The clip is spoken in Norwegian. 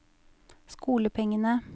skolepengene